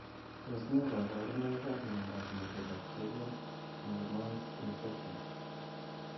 Tos ne kaborunoikap miondop mycobacterium malmoense infection?